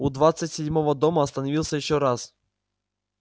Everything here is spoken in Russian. у двадцать седьмого дома остановился ещё раз